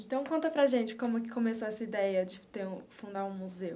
Então, conta para a gente como que começou essa ideia de ter um fundar um museu.